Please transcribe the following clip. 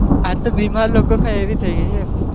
આતો બીમાર લોકો ખાય એવી થઇ ગઇ એમ.